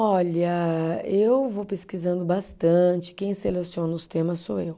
Olha, eu vou pesquisando bastante, quem seleciona os temas sou eu.